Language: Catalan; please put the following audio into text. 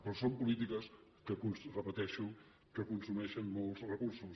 però són polítiques que ho repeteixo consumeixen molts recursos